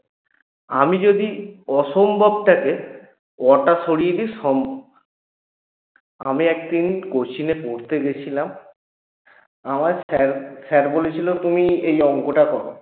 আমি যদি অসম্ভবটাকে অ টা সরিয়ে দিই সম্ভব আমি একদিন coaching এ পড়তে গেছিলাম আমার sir sir বলেছিল তুমি এই অংকটা করো